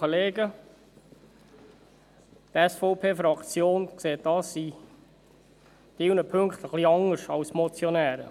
Die SVP-Fraktion sieht dies in einigen Punkten etwas anders als die Motionäre.